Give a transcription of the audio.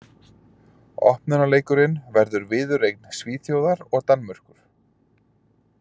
Opnunarleikurinn verður viðureign Svíþjóðar og Danmerkur.